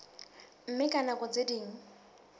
mme ka nako tse ding